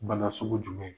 Bana sugu jumɛn